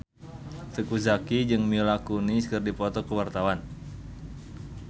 Teuku Zacky jeung Mila Kunis keur dipoto ku wartawan